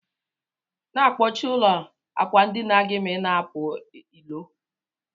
Na akpọchi ụlọ akwandinagi ma ina apụ ilo.